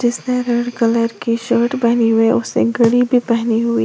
उसने red colour की shirt पहनी हुई है उसने घड़ी भी पहनी हुई--